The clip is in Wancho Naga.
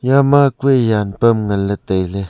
eya ma kue jan pham ngan ley tai ley.